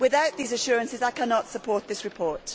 Without these assurances I cannot support this report.